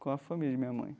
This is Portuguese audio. com a família de minha mãe.